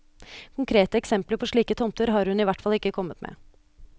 Konkrete eksempler på slike tomter har hun i hvert fall ikke kommet med.